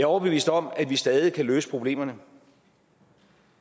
overbevist om at vi stadig kan løse problemerne